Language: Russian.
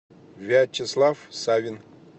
вячеслав савин